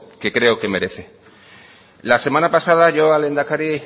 que creo que merece la semana pasada yo al lehendakari